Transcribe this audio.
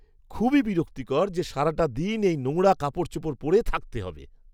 খুবই বিরক্তিকর যে, সারাটা দিন এই নোংরা কাপড়চোপড় পরে থাকতে হবে।